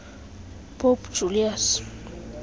pope julius